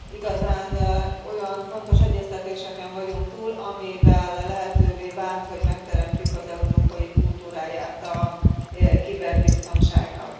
Igazán olyan fontos egyeztetéseken vagyunk túl, amivel lehetővé vált, hogy megteremtsük az európai kultúráját a kiberbiztonságnak.